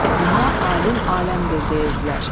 Ona alim aləmdir deyirdilər.